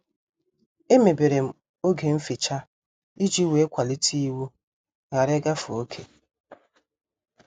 Emeberem oge mficha iji wee kwalite iwu ghara ịgafe oké.